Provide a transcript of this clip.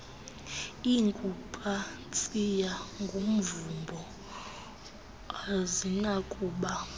ingumpatsiya ngumvubo azinakuba